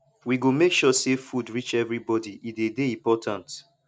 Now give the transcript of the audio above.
we go make sure sey food reach everybodi e dey dey important